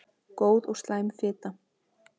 Góð og slæm fita